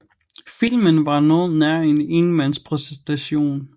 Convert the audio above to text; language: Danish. Filmen var noget nær en enmandspræstation